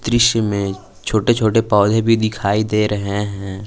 दृश्य में छोटे छोटे पौधे भी दिखाई दे रहे है।